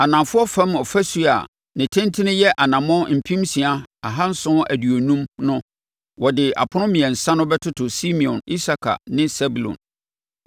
Anafoɔ fam ɔfasuo a ne tentene yɛ anammɔn mpem nsia ahanson aduonum (6,750) no, wɔde apono mmiɛnsa no bɛtoto Simeon, Isakar ne Sebulon.